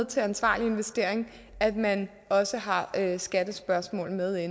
til ansvarlig investering at man også har har skattespørgsmålet med